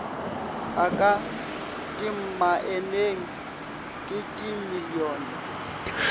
a ka dimmaeneng ke dimilione